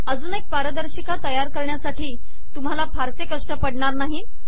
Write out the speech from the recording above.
अजून एक पारदर्शिका तयार करण्यासाठी तुम्हाला फारसे कष्ट पडणार नाहीत